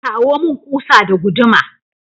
Kawo mun kusa da guduma!